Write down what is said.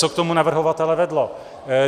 Co k tomu navrhovatele vedlo?